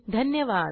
धन्यवाद